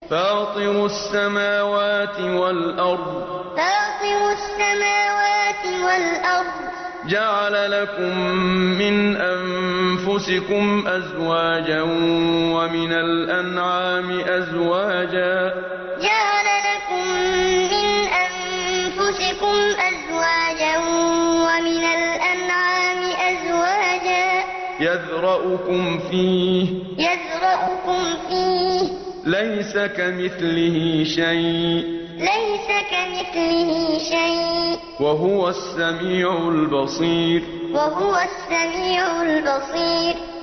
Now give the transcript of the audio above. فَاطِرُ السَّمَاوَاتِ وَالْأَرْضِ ۚ جَعَلَ لَكُم مِّنْ أَنفُسِكُمْ أَزْوَاجًا وَمِنَ الْأَنْعَامِ أَزْوَاجًا ۖ يَذْرَؤُكُمْ فِيهِ ۚ لَيْسَ كَمِثْلِهِ شَيْءٌ ۖ وَهُوَ السَّمِيعُ الْبَصِيرُ فَاطِرُ السَّمَاوَاتِ وَالْأَرْضِ ۚ جَعَلَ لَكُم مِّنْ أَنفُسِكُمْ أَزْوَاجًا وَمِنَ الْأَنْعَامِ أَزْوَاجًا ۖ يَذْرَؤُكُمْ فِيهِ ۚ لَيْسَ كَمِثْلِهِ شَيْءٌ ۖ وَهُوَ السَّمِيعُ الْبَصِيرُ